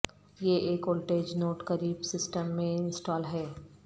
یہ ایک voltage node قریب سسٹم میں انسٹال ہے